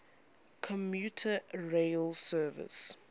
commuter rail service